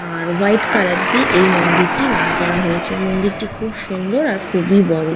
আর white colour দিয়ে এই মন্দিরটি রং করা হয়েছে মন্দিরটি খুব সুন্দর আর খুবই বড়।